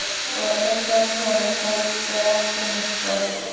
Og undan honum sleppur ekki mitt fólk.